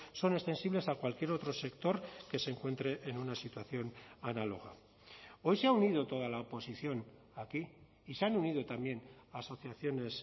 son extensibles a cualquier otro sector que se encuentre en una situación análoga hoy se ha unido toda la oposición aquí y se han unido también asociaciones